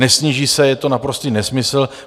Nesníží se, je to naprostý nesmysl.